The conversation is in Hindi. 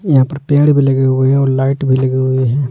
यहां पर पेड़ भी लगे हुए हैं और लाइट भी लगी हुई है।